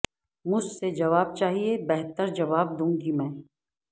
مجھ سے جواب چاہیے بہتر جواب دوں گی میں